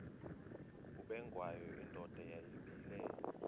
ubengwayo indoda yayibile